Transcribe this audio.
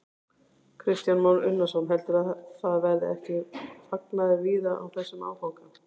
Kristján Már Unnarsson: Heldurðu að það verði ekki fagnaður víða á þessum áfanga?